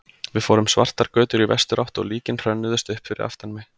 Við fórum svartar götur í vesturátt og líkin hrönnuðust upp fyrir aftan mig.